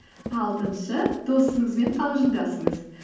алтыншы досыңызбен қалжыңдасыңыз